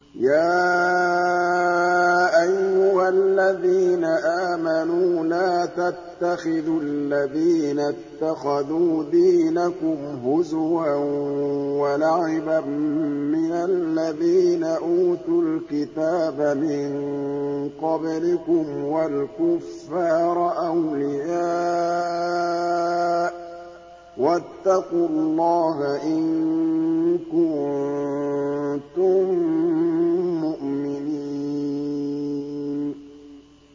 يَا أَيُّهَا الَّذِينَ آمَنُوا لَا تَتَّخِذُوا الَّذِينَ اتَّخَذُوا دِينَكُمْ هُزُوًا وَلَعِبًا مِّنَ الَّذِينَ أُوتُوا الْكِتَابَ مِن قَبْلِكُمْ وَالْكُفَّارَ أَوْلِيَاءَ ۚ وَاتَّقُوا اللَّهَ إِن كُنتُم مُّؤْمِنِينَ